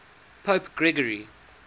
pope gregory